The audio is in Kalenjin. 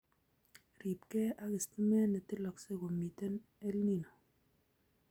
Ribkei ak stimet netiloksei komitei EL Nino